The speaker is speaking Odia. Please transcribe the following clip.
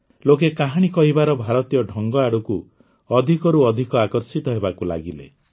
ଲୋକେ କାହାଣୀ କହିବାର ଭାରତୀୟ ଢଙ୍ଗ ଆଡ଼କୁ ଅଧିକରୁ ଅଧିକ ଆକର୍ଷିତ ହେବାକୁ ଲାଗିଲେ